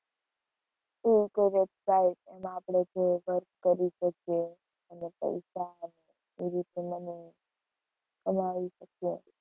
એવી કોઈ website એમાં આપણે જે work કરી શકીએ અને પૈસા એવી રીતે money કમાવી શકીએ.